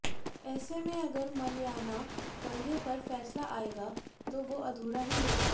ऐसे में अगर मलयाना दंगे पर फैसला आयेगा भी तो वो अधूरा ही होगा